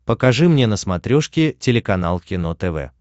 покажи мне на смотрешке телеканал кино тв